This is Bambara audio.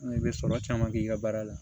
N'i bɛ sɔrɔ caman kɛ i ka baara la